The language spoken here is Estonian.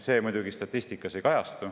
See muidugi statistikas ei kajastu.